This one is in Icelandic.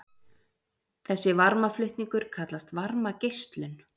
þessi varmaflutningur kallast varmageislun